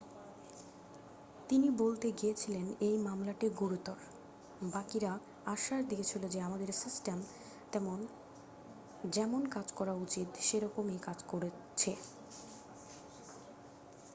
"তিনি বলতে গিয়েছিলেন,""এই মামলাটি গুরুতর। বাকিরা আশ্বাস দিয়েছিল যে আমাদের সিস্টেম যেমন কাজ করা উচিত সেরকম ই কাজ করছে।""